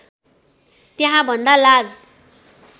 त्यहाँ भन्दा लाज